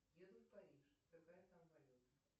еду в париж какая там валюта